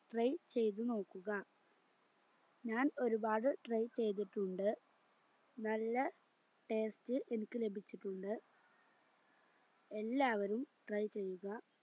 try ചെയ്ത് നോക്കുക ഞാൻ ഒരുപാട് try ചെയ്തിട്ടുണ്ട് നല്ല taste എനിക്ക് ലഭിച്ചിട്ടുണ്ട് എല്ലാവരും try ചെയ്യുക